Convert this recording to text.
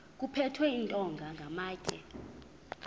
kuphethwe iintonga namatye